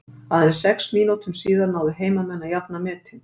Aðeins sex mínútum síðar náðu heimamenn að jafna metin.